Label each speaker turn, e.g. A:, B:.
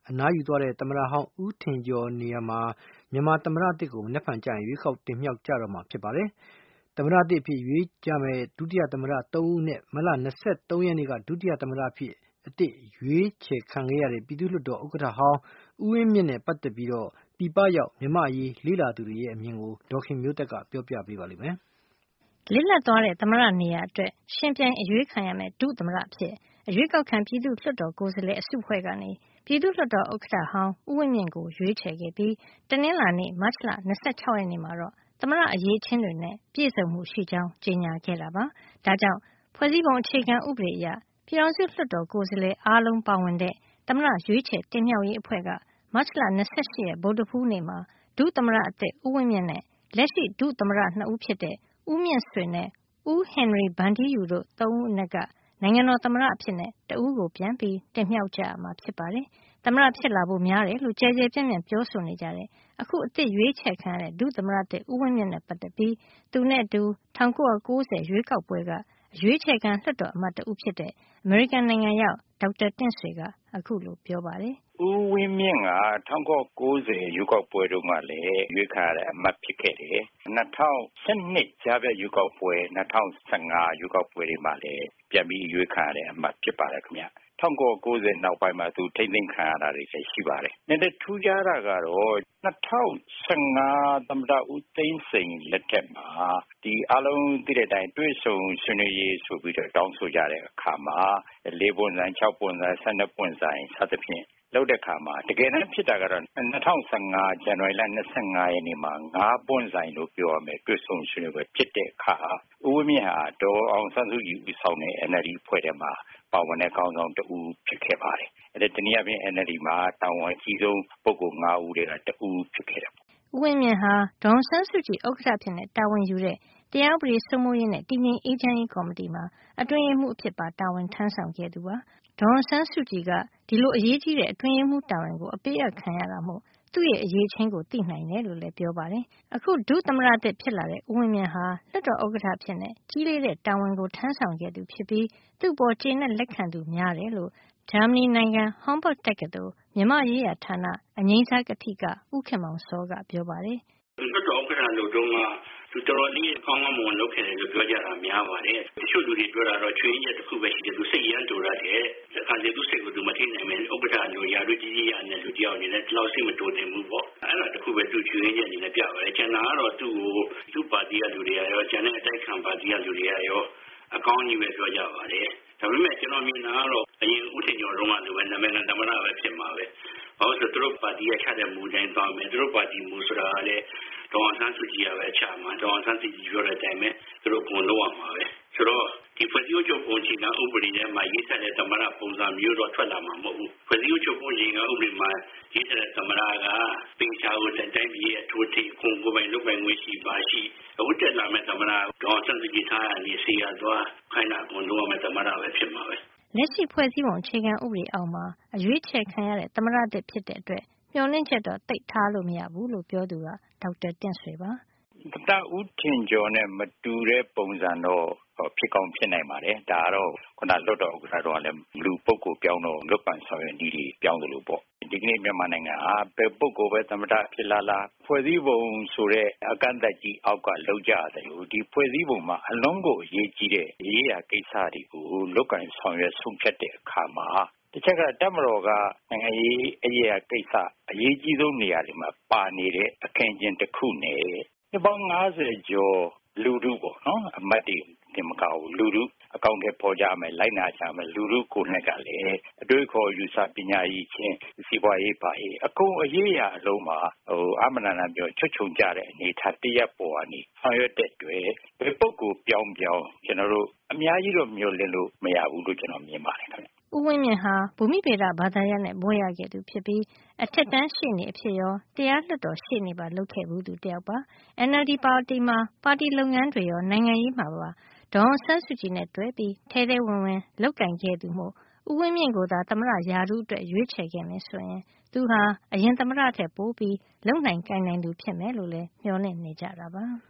A: အနားယူသွားခဲ့တဲ့ သမ္မတဟောင်းဦးထင်ကျော်နေရာအတွက် မနက်ဖြန် ဗုဒ္ဓဟူးနေ့မှာ မြန်မာသမ္မတသစ်ကို ရွေးကောက်တင်မြှောက် ကြတော့မှာ ဖြစ်ပါတယ်။ သမ္မတသစ်အဖြစ် ရွေးချယ်ကြမယ့် ဒုသမ္မတ ၃ ဦးအနက် မတ်လ ၂၃ ရက်နေ့ကမှာ ဒုသမ္မတအဖြစ် အသစ်အရွေးချယ် ခံခဲ့ရတဲ့ ပြည်သူ့လွှတ်တော် ဥက္ကဌဟောင်း ဦးဝင်းမြင့်နဲ့ ပတ်သက်ပြီး ပြည်ပရောက် မြန်မာ့အရေး လေ့လာသူတွေရဲ့ အမြင်ကို ဒေါ်ခင်မျိုးသက်က ပြောပြပေးမှာပါ။ လစ်လပ်သွားတဲ့ သမ္မတနေရာအတွက် ယှဉ်ပြိုင် အရွေးခံရမယ့် ဒုသမ္မတအဖြစ် အရွေးကောက်ခံ ပြည်သူ့လွှတ်တော်ကိုယ်စားလှယ် အစုအဖွဲ့က ပြည်သူ့လွှတ်တော်ဥက္ကဌဟောင်း ဦးဝင်းမြင့်ကိုရွေးချယ်ခဲ့ တာဖြစ်ပြီး တနင်္လာနေ့ မတ်လ ၂၆ ရက်နေ့မှာတော့ သမ္မတအရည်အချင်းတွေနဲ့ ပြည့်စုံမှုရှိကြောင်း ကြေညာခဲ့တာပါ။ ဒါ့ကြောင့် ဖွဲ့စည်းပုံအခြေခံဥပဒေအရ ပြည်ထောင်စုလွှတ်တော် ကိုယ်စားလှယ်အားလုံးပါဝင်တဲ့ သမ္မတရွေးချယ်တင်မြှေက်ရေးအဖွဲ့က မတ်လ ၂၈ ရက် ဗုဒ္ဓဟူးနေ့မှာ ဒုသမ္မတသစ် ဦးဝင်းမြင့်နဲ့ လက်ရှိဒုသမ္မတ ၂ ဦးဖြစ်တဲ့ ဦးမြင့်ဆွေနဲ့ ဦးဟင်နရီဗန်ထီးယူတို့ သုံးယောက်အနက်က နိုင်ငံတော်သမ္မတအဖြစ် တဦးကို ပြန်လည်တင်မြှောက်ကြမှာ ဖြစ်ပါတယ်။ သမ္မတဖြစ်လာဖို့များတယ်လို့ ကျယ်ကျယ်ပြန့်ပြန့် ပြောဆိုနေကြတဲ့ အခုအသစ်အရွေးချယ်ခံခဲ့ရတဲ့ ဒုသမ္မတသစ် ဦးဝင်းမြင့်နဲ့ပတ်သက်ပြီး သူနဲ့အတူ ၁၉၉၀ ရွေးကောက်ပွဲက အရွေးချယ်ခံလွှတ်တော်အမတ် တဦးဖြစ်တဲ့ အမေရိကန်နိုင်ငံရောက် ဒေါက်တာတင့်ဆွေက ခုလိုပြော ပါတယ်။ “ဦ
B: းဝင်းမြင့်ဟာ ၁၉၉၀ ရွေးကောက်ပွဲတုန်းက အရွေးချယ်ခံရတဲ့ လွှတ်တော်အမတ် တဦးဖြစ်ခဲ့တယ်။ ၂၀၁၂ ကြားဖြတ်ရွေးကောက်ပွဲ၊ ၂၀၁၅ ရွေးကောက်ပွဲ တွေမှာလည်း ပြန်ပြီးတော့ အရွေးခံရတဲ့ အမတ်ဖြစ်ပါတယ်ခင်ဗျ ၁၉၉၀ ရွေးကောက်ပွဲနောက်ပိုင်းမှာ သူထိန်းသိမ်းခံရတာတွေလည်း ရှိပါတယ်။ နည်းနည်းထူးခြားတာကတော့ ၂၀၁၅ သမ္မတ ဦးသိန်းစိန်လက်ထက်မှာ တွေ့ဆုံဆွေးနွေးရေးဆိုပြီးတော့ တောင်းဆိုကြတဲ့အခါမှာ ၄ ပွင့်ဆိုင် ၅ ပွင့်ဆိုင် ၆ ပွင့်ဆိုင်တို့ စသဖြင့် လုပ်တာ တကယ်တမ်းဖြစ်တာကတော့ ၂၀၁၅ ဇန်နဝါရီ ၂၅ ရက်နေ့မှာ ၅ ပွင့်ဆိုင် လို့ပြောရမယ့် တွေ့ဆုံဆွေးနွေးပွဲဖြစ်တဲ့အခါမှာ ဦးဝင်းမြင့်ဟာ ဒေါ်အောင်ဆန်းစုကြည်ဦးဆောင်တဲ့ NLD အဖွဲ့ထဲမှာ ပါဝင်တဲ့ ခေါင်းဆောင် ၁ ဦးဖြစ်ခဲ့ပါတယ်။ တနည်းအားဖြင့် NLD မှာ တာဝန်အကြီးဆုံးလူ ၅ ဦးထဲက တဦး ဖြစ်ခဲ့တယ်ပေါ့နေ
A: ာ်။” ဦးဝင်းမြင့်ဟာ ဒေါ်အောင်ဆန်းစုကြည် ဥက္ကဌအဖြစ်တာဝန်ယူတဲ့ တရားဥပဒေစိုးမိုးရေးနဲ့ တည်ငြိမ်အေးချမ်းရေး ကော်မတီမှာ အတွင်းရေးမှုး အဖြစ်ပါတာဝန်ထမ်းဆောင်ခဲ့သူပါ။ ဒေါ်အောင်ဆန်းစုကြည်က ဒီလိုအရေးကြီးတဲ့ အတွင်းရေးမှုတာဝန်ကို အပေးအပ်ခံရတာမို့ သူ့ရဲ့ အရည်အချင်းကို သိနိုင်တယ်လို့လည်း ပြောပါတယ်။ အခုဒုသမ္မတသစ် ဖြစ်လာတဲ့ ဦးဝင်းမြင့်ဟာ လွှတ်တော်ဥက္ကဌအဖြစ် ကြီးလေးတဲ့တာဝန်ထမ်းဆောင်ခဲ့သူ ဖြစ်ပြီး သူ့အပေါ် ကျေနပ်လက်ခံသူ များတယ်လို့ ဂျာမဏီနိုင်ငံ Hombolt တက္ကသိုလ် မြန်မာရေးရာဌာန အငြိမ်းစားကထိက ဦးခင်မောင်စောကပြောပါတယ်။ “သူလွှတ်တော်ဥက္ကဋ္ဌလုပ်တ
C: ုန်းက သူတော်တော်လေး ကောင်းကောင်းမွန်မွန်လုပ်ခဲ့တယ်လို့ ပြောတာများပါတယ်။ တချို့လူတွေပြောတာကတော့ ချို့ယွင်းချက်လေးတခု သူ စိတ်အရမ်းတိုတတ်တယ်။ တခါတလေ သူစိတ်ကိုသူမထိန်းနိုင်ပဲနဲ့ ဥက္ကဋ္ဌ ရာထူးကြီးကြီး လူတယောက်အနေနဲ့ ဒီလောက်စိတ်မတိုသင့်ဘူးပေါ့နော် အဲဒါလေးတခုပဲ ချို့ယွင်းချက်အနေနဲ့ပြပါတယ်။ ကျန်တာကတော့ သူပါတီလူတွေကရော ကျန်တဲ့ အတိုက်အခံလူတွေကရော အကောင်းပြောကြပါတယ် ဒါပေမယ့် ကျနေ်ာမြင်တာကတော့ ဦးထင်ကျော်လိုပဲ နာမည်ခံသမ္မတပဲ ဖြစ်မှာပဲ ဘာဖြစ်လိုလဲဆိုတော့ ပါတီမူအတိုင်းပဲသွားမယ်။ သူတို့ပါတီမူဆိုတာလည်း ဒေါ်အောင်ဆန်းစုကြည်ပဲချမှာ ဒေါ်အောင်ဆန်းစုကြည်ပြောတဲ့အတိုင်း သူတို့လုပ်ရမှာပဲ ဆိုတော့ ဖွဲ့စည်းအုပ်ချုပ်ပုံအခြေခံဥပဒေထဲမှာ ရေးထားတဲ့အတိုင်း သမ္မတပုံစံမျိုးတော့ ထွက်လာမှာမဟုတ်ဘူး။ ဖွဲ့စည်းအုပ်ချုပ်ပုံအခြေခံဥပဒေထဲမှာ ရေးထားတဲ့သမ္မတက သေချာကို ဥပဒေအတိုင်း လုပ်ပိုင်ခွင့်ရှိတယ်။ အခုတက်လာမယ့် သမ္မတက ဒေါ်အောင်ဆန်းစုကြည် စေရာသွား ခိုင်းတာလုပ် ရတဲ့ သမ္မတဖြစ်မှာပဲ။
A: ” လက်ရှိ ဖွဲ့စည်းပုံအခြေခံဥပဒေအောက်မှာ အရွေးချယ်ခံရတဲ့ သမ္မတသစ်ဖြစ်တဲ့အတွက် မျှော်လင့်ချက်တော့ သိပ်ထားလို့ မရဘူးလို့ပြောသူက ဒေါက်တာတင့်ဆွေပါ
B: ။ “သမ္မတဦးထင်ကျော်နဲ့ မတူတဲ့ပုံစံတော့ ဖြစ်ကောင်းဖြစ်နိုင်တယ် ။ ဒါကတော့ လွှတ်တော်ဥက္ကဋ္ဌ တုန်းကလည်း လုပ်ကိုင်ဆောင်ရွက်နေတဲ့ အတွက်ကြောင့် ဒီကနေ့မြန်မာနိုင်ငံဟာ ဘယ်သူပဲ သမ္မတ ဖြစ်လာ ဖွဲ့စည်းပုံဆိုတဲ့ အကန့်အသတ်ကြီးအောက်ကလုပ်ကြသလို ဒီဖွဲ့စည်းပုံ က အရေးကြီးတဲ့ ကိစ္စတွေကို လုပ်ကိုင်ဆောင်ရွက်တဲ့အခါမှာ တပ်မတော်က နိုင်ငံရေးအရ အရေးကြီးဆုံးနေရာတွေမှာ ပါနေတဲ့ အခင်းအကျင်းတခုနဲ့ နှစ်ပေါင်း ၅၀ ကျော်လူထုပေါ့နော် အမတ်တွေတင်မက လူထု အကောင်အထည်ဖော်လိုက်နာမယ့် လူထုကိုယ်တိုင်ကလည်း အတွေးအခေါ် ပညာအရည်အချင်း၊ စီးပွားရေးတွေ အကုန်လုံးမှာ ချွတ်ခြုံကျ နေတဲ့ အနေအထားတရပ်ကနေ ဆောင်ရွက်တဲ့အတွက် ကျနော်တို့ အများကြီးမျှော်လင့်လို့မရဘူးလို့ မြင်ပါတယ်ခင်ဗျ
A: ။” ဦးဝင်းမြင့်ဟာ ဘူမိဗေဒဘာသာရပ်နဲ့ဘွဲရခဲ့ပြီး အထက်တန်းရှေ့နေအဖြစ်ရော၊ တရားလွှတ်တော်ရှေ့နေပါလုပ်ခဲ့ဘူးတယောက်ပါ။ NLD ပါတီမှာ ပါတီလုပ်ငန်းတွေရော နိုင်ငံရေးမှာပါ ဒေါ်အောင်ဆန်းစုကြည်နဲ့ တွဲပြီးထဲထဲဝင်ဝင် လုပ်ကိုင်ခဲ့သူမို့ ဦးဝင်းမြင့်ကိုသာ သမ္မတရာထူးအတွက် ရွေးချယ်ခဲ့မယ်ဆိုရင် သူဟာအရင်သမ္မတထက် ပိုပြီးလုပ်နိုင်ကိုင်နိုင်သူဖြစ်မယ်လို့လည်း မျှော်လင့်နေကြတာပါ။